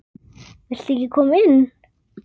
Viltu ekki koma inn?